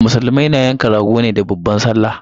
Musulmai na yanka rago ne da babban sallah